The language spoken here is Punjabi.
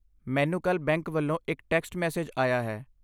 ਮੈਨੂੰ ਕੱਲ੍ਹ ਬੈਂਕ ਵੱਲੋਂ ਇੱਕ ਟੈਕਸਟ ਮੈਸੇਜ ਆਇਆ ਹੈ?